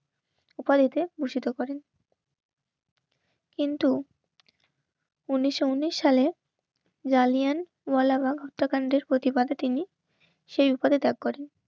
উপাধিতে ভূষিত করে. কিন্তু উনিশশো উনিশ সালে জালিয়ান ওয়ালাবাগ হত্যাকাণ্ডের প্রতিবাদে তিনি সেই বিপদে ত্যাগ করেন